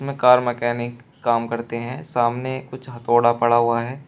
Car mechanic काम करते हैं सामने कुछ हथोड़ा पड़ा हुआ है।